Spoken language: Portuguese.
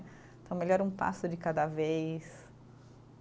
Então, melhor um passo de cada vez